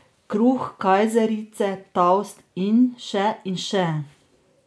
Kruh, kajzerice, toast in še in še.